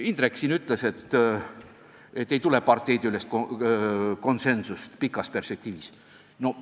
Indrek siin ütles, et parteidevahelist konsensust pikas perspektiivis paraku näha pole.